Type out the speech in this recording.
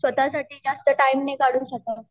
स्वतःसाठी जास्त टाईम नाही काढू शकत.